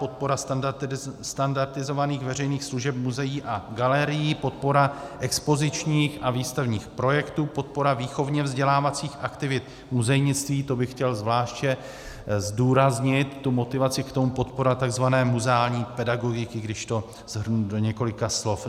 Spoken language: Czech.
Podpora standardizovaných veřejných služeb muzeí a galerií, podpora expozičních a výstavních projektů, podpora výchovně vzdělávacích aktivit muzejnictví - to bych chtěl zvláště zdůraznit, tu motivaci k tomu, podpora tzv. muzeální pedagogiky, když to shrnu do několika slov.